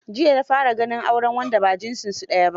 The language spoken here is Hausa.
Jiya na fara ganin auren wanda ba jinsunsu daya ba.